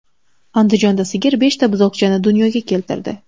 Andijonda sigir beshta buzoqchani dunyoga keltirdi.